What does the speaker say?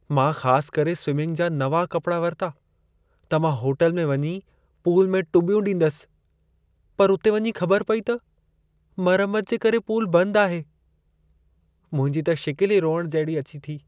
मां ख़ास करे स्विंमिंग जा नवां कपड़ा वरिता, त मां होटल में वञी पूल में टुॿ्यूं ॾींदसि, पर उते वञी ख़बर पेई त मरमत जे करे पूल बंद आहे। मुंहिंजी त शिकिल ई रोइण जहिड़ी अची थी।